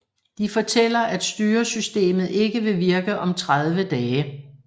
De fortæller at styresystemet ikke vil virke om 30 dage